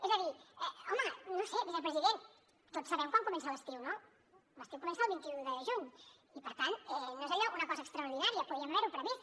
és a dir home no ho sé vicepresident tots sabem quan comença l’estiu no l’estiu comença el vint un de juny i per tant no és allò una cosa extraordinària podíem haver ho previst